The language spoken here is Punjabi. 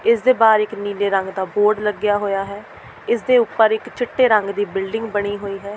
ਇਸ ਦੇ ਬਾਹਰ ਇੱਕ ਨੀਲੇ ਰੰਗ ਦਾ ਬੋਰਡ ਲੱਗਿਆ ਹੋਇਆ ਹੈ ਇਸ ਦੇ ਉੱਪਰ ਇੱਕ ਚਿੱਟੇ ਰੰਗ ਦੀ ਬਿਲਡਿੰਗ ਬਣੀ ਹੋਈ ਹੈ।